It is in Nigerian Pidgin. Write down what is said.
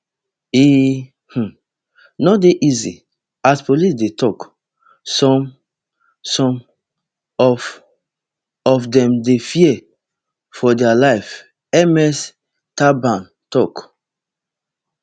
e um no dey easy as police dey tok some some of of dem dey fear for dia lives ms thabane tok